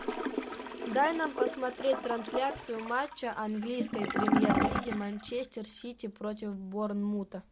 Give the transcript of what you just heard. дай нам посмотреть трансляцию матча английской премьер лиги манчестер сити против борнмута